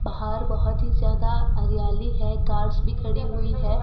बाहर बहोत ही ज्यादा हरियाली है कार्स भी खड़ी हुई है।